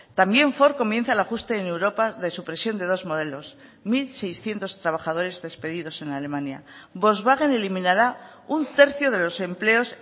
también ford comienza el ajuste en europa de supresión de dos modelos mil seiscientos trabajadores despedidos en alemania volkswagen eliminará un tercio de los empleos